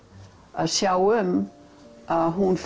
að sjá um að hún